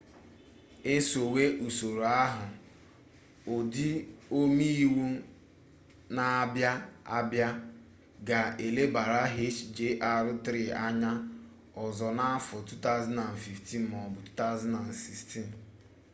esowe usoro ahụ ndị ome iwu na-abịa abịa ga elebara hjr-3 anya ọzọ n'afọ 2015 m'ọbụ 2016